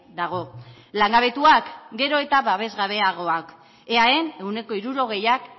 dago langabetuak gero eta babesgabeagoak eaen ehuneko hirurogeiak